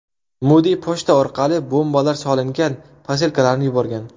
Mudi pochta orqali bombalar solingan posilkalarni yuborgan.